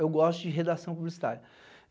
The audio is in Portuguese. Eu gosto de redação publicitária.